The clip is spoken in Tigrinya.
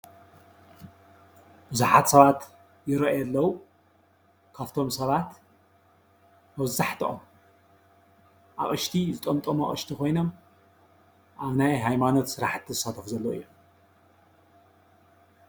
ብዙሓት ሰባት ይርአዩ ኣለዉ፡፡ ካብቶም ሰባት መብዛሕትኦም ኣቕሽቲ ዝጠምጠሙ ኣቕሽቲ ኮይኖም ኣብ ናይ ሃይማኖት ስራሕቲ ዝሳተፉ ዘለዉ እዮም፡፡